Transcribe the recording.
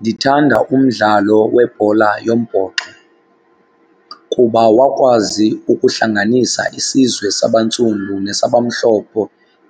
Ndithanda umdlalo webhola yombhoxo kuba wakwazi ukuhlanganisa isizwe sabantsundu nesabamhlophe